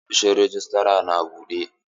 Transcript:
Ofishin rejistra na buɗe?